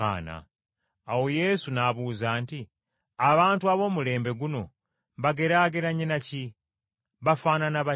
Awo Yesu n’abuuza nti, “Abantu ab’omulembe guno mbageraageranye na ki? Bafaanana batya?